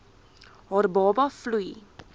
haar baba vloei